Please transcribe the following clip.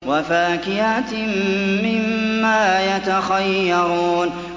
وَفَاكِهَةٍ مِّمَّا يَتَخَيَّرُونَ